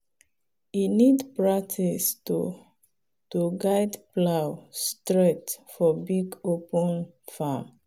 e need practice to to guide plow straight for big open farm.